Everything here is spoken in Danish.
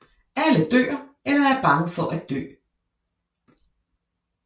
Alle dør eller er bange for at dø